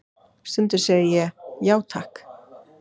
Stundum segi ég: já, takk.